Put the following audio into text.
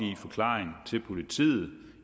forklaring til politiet